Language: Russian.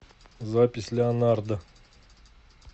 запись леонардо